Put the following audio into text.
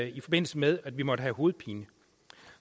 i forbindelse med at vi måtte have hovedpine